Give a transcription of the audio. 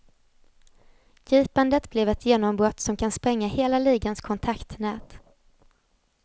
Gripandet blev ett genombrott som kan spränga hela ligans kontaktnät.